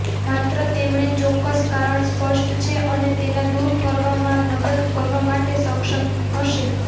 માત્ર તેમણે ચોક્કસ કારણ સ્પષ્ટ છે અને તેના દૂર કરવામાં મદદ કરવા માટે સક્ષમ હશે